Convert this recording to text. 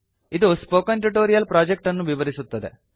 ಇದು spoken tutorial project ಅನ್ನು ವಿವರಿಸುತ್ತದೆ